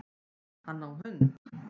Hann á hund